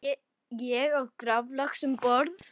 Ég át graflax um borð.